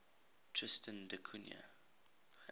tristan da cunha